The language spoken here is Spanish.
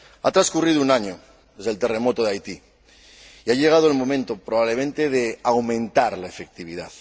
Ha transcurrido un año desde el terremoto de Haití y ha llegado el momento, probablemente, de aumentar la efectividad.